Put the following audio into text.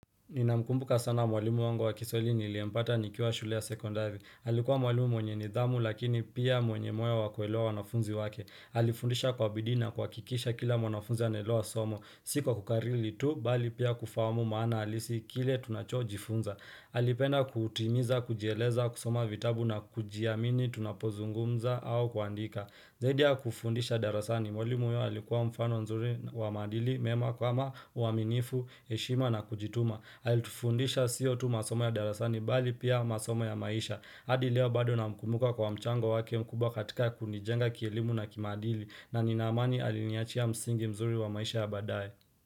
Nina mkumbuka sana mwalimu wangu wa kiswahili niliyempata nikiwa shule ya sekondari. Alikuwa mwalimu mwenye nidhamu lakini pia mwenye moyo wa kuelewa wanafunzi wake. Alifundisha kwa bidii na kuhakikisha kila mnanafunzi anaelewa somo. Si kwa kukariri tu, bali pia kufahamu maana halisi kile tunachojifunza. Alipenda kutimiza, kujieleza, kusoma vitabu na kujiamini, tunapozungumza au kuandika. Zaidi ya kufundisha darasani mwalimu huyu alikuwa mfano mzuri wa maadili mema kama uaminifu, heshima na kujituma. Alifundisha sio tu masomo ya darasani bali pia masomo ya maisha hadi leo bado namkumbuka kwa mchango wake mkubwa katika kunijenga kielimu na kimaadili na nina amani aliniachia msingi mzuri wa maisha ya baadaye.